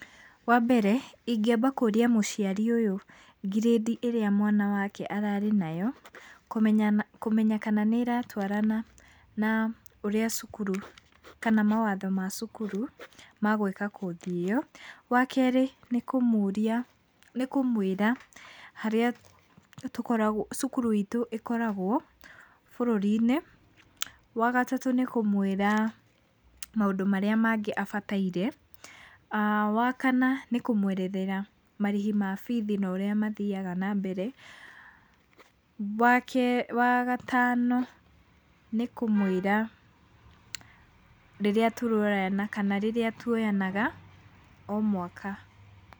Wambere, ingĩamba kũria mũciari ũyũ ngirĩndi ĩrĩa mwana wake ararĩ nayo kũmenya kũmenya kana nĩratwarana na ũrĩa cukuru kana mawatho ma cukuru ma gwĩka kothi ĩyo. Wakerĩ nĩ kũmũria nĩ kũmwĩra harĩa tũkoragwo cukuru itũ ĩkoragwo bũrũri-inĩ. Wagatatũ nĩ kũmwĩra maũndũ marĩa mangĩ abataire. Wakana nĩ kũmwerethera marĩhi ma bithi na ũrĩa mathiaga na mbere. Wagatano nĩ kũmwĩra rĩrĩa tũroyana kana rĩrĩa tuoyanaga o mwaka.